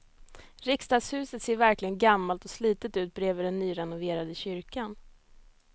Riksdagshuset ser verkligen gammalt och slitet ut bredvid den nyrenoverade kyrkan.